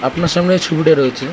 আপনার সামনে এই ছবিটা রয়েছে